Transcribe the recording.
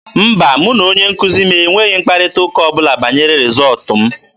Mba, mụ na onye nkuzi m enweghị mkparịta ụka ọ bụla banyere rịzọọtụ m.